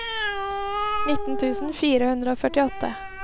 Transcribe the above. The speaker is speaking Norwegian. nitten tusen fire hundre og førtiåtte